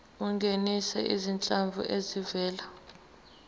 ungenise izinhlanzi ezivela